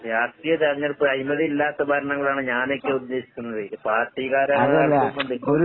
രാഷ്ട്രീയ തെരഞ്ഞെടുപ്പ് അഴിമതിയില്ലാത്ത ഭരണകൂടാണ് ഞാനൊക്കെ ഉദ്ദേശിക്കുന്നത്. ഇത് പാർട്ടിക്കാരെ കണ്ടുകൊണ്ട്